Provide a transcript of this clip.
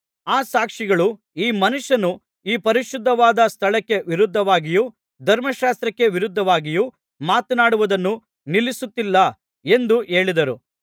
ಆ ಸಾಕ್ಷಿಗಳು ಈ ಮನುಷ್ಯನು ಈ ಪರಿಶುದ್ಧವಾದ ಸ್ಥಳಕ್ಕೆ ವಿರೋಧವಾಗಿಯೂ ಧರ್ಮಶಾಸ್ತ್ರಕ್ಕೆ ವಿರೋಧವಾಗಿಯೂ ಮಾತನಾಡುವುದನ್ನು ನಿಲ್ಲಿಸುತ್ತಿಲ್ಲ ಎಂದು ಹೇಳಿದರು